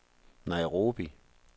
Nairobi